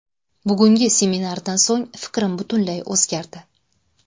Bugungi seminardan so‘ng fikrim butunlay o‘zgardi.